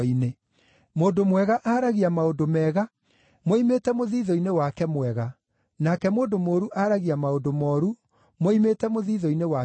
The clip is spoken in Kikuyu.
Mũndũ mwega aaragia maũndũ mega moimĩte mũthiithũ-inĩ wake mwega, nake mũndũ mũũru aaragia maũndũ mooru moimĩte mũthiithũ-inĩ wake mũũru.